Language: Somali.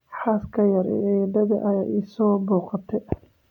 Xaaska yar ee eeddaday ayaa i soo booqatay